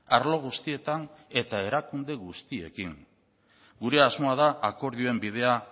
arlo guztietan eta erakunde guztiekin gure asmoa da akordioen bidea